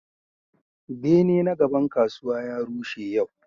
Bene na gaban kasuwa ya rushe yau.